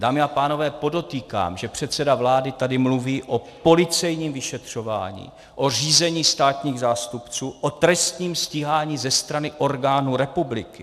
Dámy a pánové, podotýkám, že předseda vlády tady mluví o policejním vyšetřování, o řízení státních zástupců, o trestním stíhání ze strany orgánů republiky.